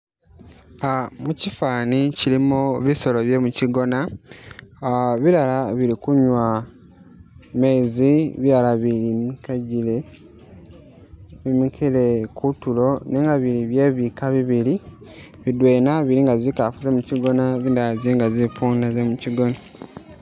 Ah mukifani kilimo bisolo bye mukigona, ah bilala bili kunywa mezi bilala bi mikajile bimikile kutulo nenga bili bye bika bibili, bidwena bili nga zikafu ze mukigona zindala zili nga zi puunda ze mukigona.